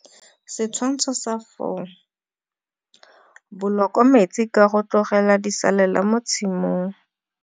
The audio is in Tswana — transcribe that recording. Setshwantsho sa 4. Boloko metsi ka go tlogela disalela mo tshimong.